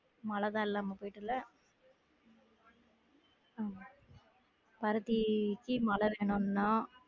மழை தான் இல்லாம போயிட்டுல உம் பருத்திக்கு மழை வேணும் தான்